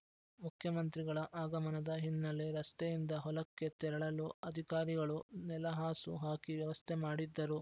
ಮುಖ್ಯಮಂತ್ರಿಗಳ ಆಗಮನದ ಹಿನ್ನೆಲೆ ರಸ್ತೆಯಿಂದ ಹೊಲಕ್ಕೆ ತೆರಳಲು ಅಧಿಕಾರಿಗಳು ನೆಲಹಾಸು ಹಾಕಿ ವ್ಯವಸ್ಥೆ ಮಾಡಿದ್ದರು